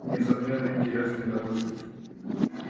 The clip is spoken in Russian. несомненно интересные науки